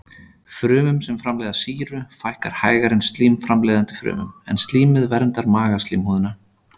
Frumum sem framleiða sýru fækkar hægar en slím-framleiðandi frumum, en slímið verndar magaslímhúðina.